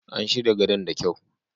An shirya gadon da kyau.